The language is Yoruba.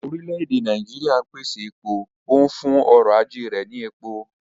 Orílẹ̀ èdè Nàíjíríà ń pèsè epo, ó ń fún ọrọ̀ ajé rẹ̀ ní epo.